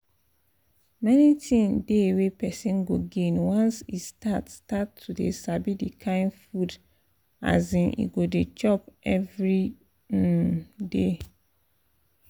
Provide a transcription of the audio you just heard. many thing dey wey person go gain once e start start to dey sabi the kind food um e go dey chop every um day